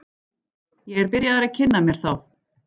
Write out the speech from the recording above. Ég er byrjaður að kynna mér þá.